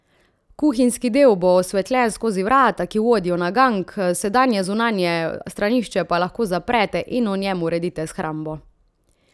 Kuhinjski del bo osvetljen skozi vrata, ki vodijo na gank, sedanje zunanje stranišče pa lahko zaprete in v njem uredite shrambo.